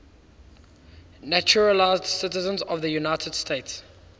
naturalized citizens of the united states